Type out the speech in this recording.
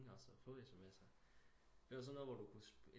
Også at få SMS'er det var sådan noget hvor du kunne